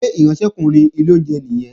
Ṣé ìránṣẹ́kùnrin ilé oúnjẹ nìyẹn?